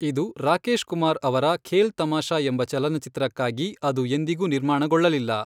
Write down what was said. ಇದು ರಾಕೇಶ್ ಕುಮಾರ್ ಅವರ 'ಖೇಲ್ ತಮಾಷಾ' ಎಂಬ ಚಲನಚಿತ್ರಕ್ಕಾಗಿ, ಅದು ಎಂದಿಗೂ ನಿರ್ಮಾಣಗೊಳ್ಳಲಿಲ್ಲ.